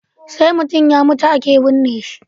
Sai mutun ya mutu ake bunne shi